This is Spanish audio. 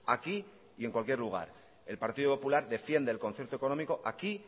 aquí y en cualquier lugar el partido popular defiende el concierto económico aquí